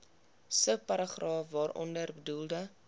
subparagraaf waaronder bedoelde